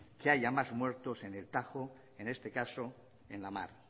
que haya más muertos en el tajo en este caso en la mar